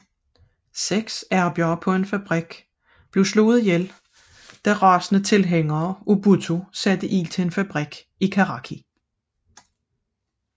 Seks arbejdere på en fabrik blev dræbt da rasende tilhængere af Bhutto satte ild til en fabrik i Karachi